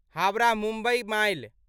Howrah Mumbai mile